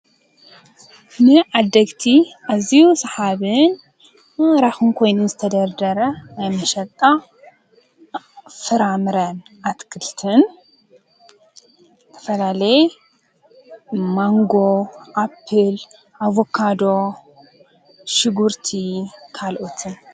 ንዓድግቲ ኣዝዩ ስሓብን ማራኪን ኮይኑ ዝተደርደረ ናይ መሸጣ ፍራምረ ኣትክልትን ዝተፈላለየ ማንጎ፣ ኣፕል፣ አቨካዶ፣ ሽጉርቲ ካልኦትን ።